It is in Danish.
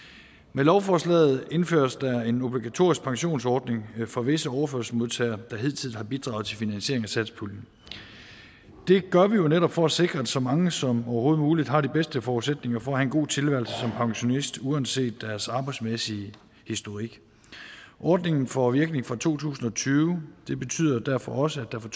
med lovforslaget indføres der en obligatorisk pensionsordning for visse overførselsmodtagere der hidtil har bidraget til finansieringen af satspuljen det gør vi jo netop for at sikre at så mange som overhovedet muligt har de bedste forudsætninger for en god tilværelse som pensionist uanset deres arbejdsmæssige historik ordningen får virkning fra to tusind og tyve det betyder derfor også at der fra